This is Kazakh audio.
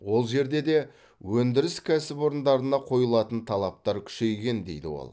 ол жерде де өндіріс кәсіпорындарына қойылатын талаптар күшейген дейді ол